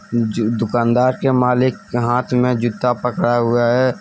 दुकानदार के मालिक के हाथ में जूता पकड़ा हुआ है।